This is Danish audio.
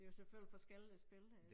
Det jo selvfølgelig forskellige spil det